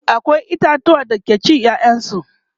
akwai itatuwa da ake cin ƴaƴan su